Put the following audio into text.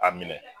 A minɛ